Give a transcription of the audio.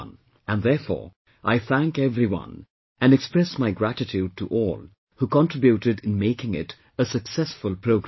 And therefore, I thank everyone and express my gratitude to all who contributed in making it a successful programme